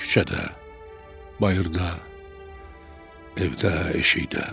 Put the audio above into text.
Küçədə, bayırda, evdə, eşikdə.